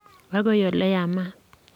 agoi ole yamat.